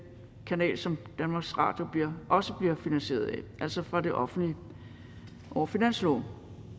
kanal som danmarks radio også bliver finansieret af altså fra det offentlige over finansloven